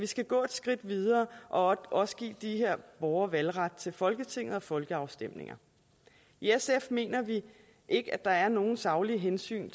skal gå et skridt videre og også give de her borgere valgret til folketinget og folkeafstemninger i sf mener vi ikke at der er nogen saglige hensyn